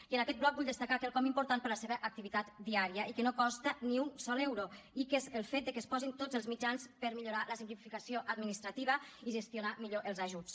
i en aquest bloc vull destacar quelcom important per a la seva activitat diària i que no costa ni un sol euro i que és el fet de que es posin tots els mitjans per millorar la simplificació administrativa i gestionar millor els ajuts